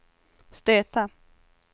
stöta